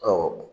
Ɔ